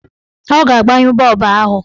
Ọ ga-agbanye bọọbụ ahụ.